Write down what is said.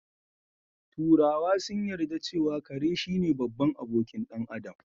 Turawa sun yarda cewa kare shine babban abokin ɗan Adam